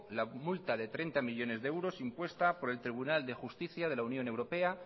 la multa de treinta millónes e euros impuesta por el tribunal de justicia de la unión europea